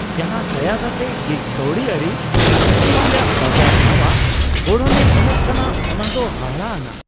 ᱡᱟᱦᱟᱸ ᱥᱟᱸᱭᱟᱫᱽ ᱟᱛᱮ ᱜᱤᱜ ᱠᱟᱹᱣᱰᱤᱟᱹᱨᱤ ᱪᱟᱹᱠᱨᱤ ᱨᱮᱭᱟᱜ ᱵᱟᱡᱟᱨ ᱱᱟᱶᱟ ᱜᱚᱲᱦᱚᱱᱮ ᱮᱢᱟᱜ ᱠᱟᱱᱟ ᱚᱱᱟ ᱫᱚ ᱦᱟᱦᱟᱲᱟᱼᱟᱱᱟᱜ ᱾